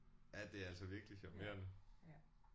Ja det er altså virkelig charmerende